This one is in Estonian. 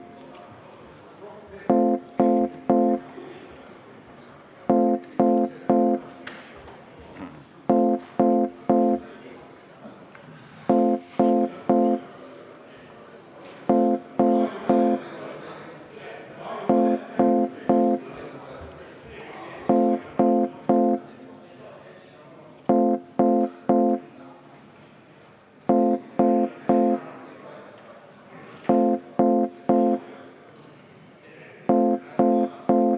Kümnendat muudatusettepanekut?